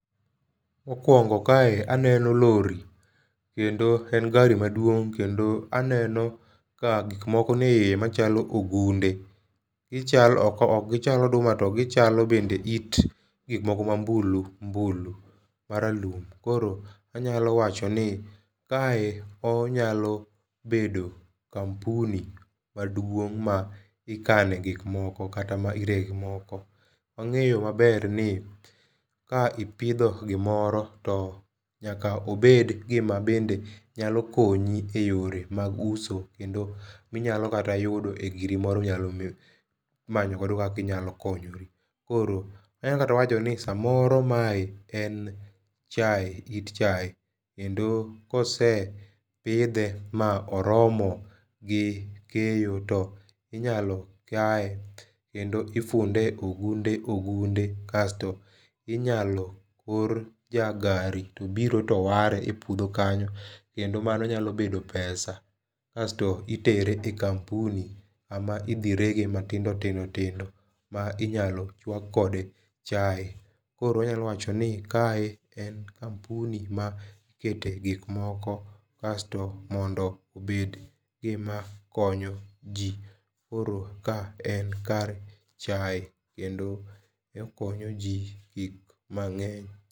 Mokwongo kae aneno lori, kendo en gari maduong' kendo aneno ka gik moko ni e iye machalo ogunde. Gichalo, ok ok gichal oduma, to gichalo bende it gik moko ma mbulu mbulu maralum. Koro anyalo wachoni, kae, onyalo bedo kampuni maduong' ma ikane gik moko kata ma irege gikmoko. Wangéyo maber ni ka ipidho gimoro to nyaka obed gima bende nyalo konyi e yore mag uso, kendo ma inyalo kata yudo giri moro ma inyalo manyo godo kaka inyalo konyori. Koro anyalo kata wacho ni samoro mae en chae, it chae. Kendo ka osepidhe ma oromo gi keyo, to inyalo kaye, kendo ifunde e ogunde ogunde. Kasto inyalo or jagari tobiro to ware e puodho kanyo. Kendo mano nyalo bedo pesa, kasto itere e kampuni kama idhi rege matindo, tindo, tindo ma inyalo chwak kode chae. Koro wanyalo wacho ni kae en kampuni ma ikete gik moko. Kasto, mondo obed gima konyo ji. Koro ka en kar chae kendo okonyo ji gik mangény.